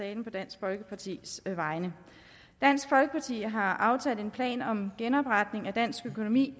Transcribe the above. talen på dansk folkepartis vegne dansk folkeparti har aftalt en plan om genopretning af dansk økonomi